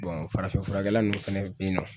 farafin furakɛla ninnu fɛnɛ be yen nɔ